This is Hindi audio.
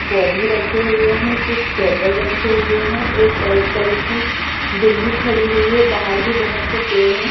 पौधे रखे हुए हैं कुछ टेबल रखे हुए हैं एक वाइट कलर की बिल्ली खड़ी हुई है बाहर भी बहुत से पेड़ हैं।